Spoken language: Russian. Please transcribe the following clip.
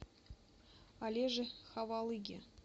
олеже ховалыге